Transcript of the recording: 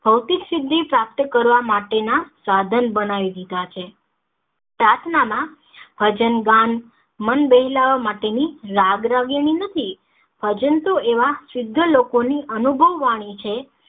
ભૌતિક સિદ્ધિ પ્રાપ્ત કરવા માટે ના સાધન બનાવીં દીધા છે પ્રાર્થના માં ભજન ગાન મન બહેલાવા માટે ની રાગ રાગિની નથી ભજન તો એવા શુદ્ધ લોકો ની અનુભવવાળી છે